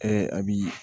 a bi